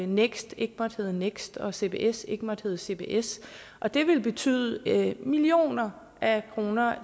next ikke måtte hedde next og at cbs ikke måtte hedde cbs og det ville betyde millioner af kroner